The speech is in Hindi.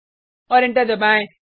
और एंटर दबाएँ